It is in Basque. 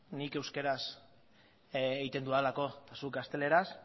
nik euskeraz egiten dudalako eta zuk gazteleraz